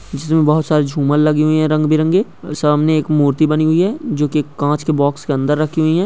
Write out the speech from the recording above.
जिसमें बहोत सारे झूमर लगे हुए हैं रंग बिरंगे सामने एक मूर्ति बनी हुई है जो कि एक कांच के बॉक्स के अंदर रखी हुई है।